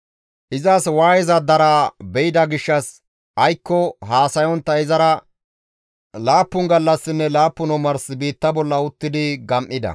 Izas waayeza daraa be7ida gishshas aykko haasayontta izara laappun gallassanne laappun omars biitta bolla uttidi gam7ida.